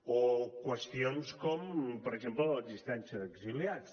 o qüestions com per exemple l’existència d’exiliats